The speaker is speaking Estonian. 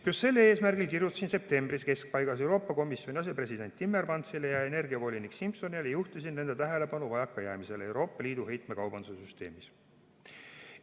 Just sel eesmärgil kirjutasin septembri keskpaigas Euroopa Komisjoni asepresidendile Timmermansile ja energiavolinik Simsonile ning juhtisin nende tähelepanu vajakajäämistele Euroopa Liidu heitmekaubanduse süsteemis.